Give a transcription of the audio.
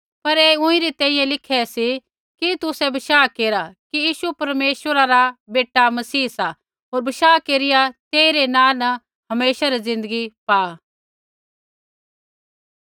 पर ऐ ऊँईरी तैंईंयैं लिखे सी कि तुसै बशाह केरा कि यीशु परमेश्वरा रा बेटा मसीह सा होर बशाह केरिया तेई रै नाँ न हमेशा री ज़िन्दगी पाआ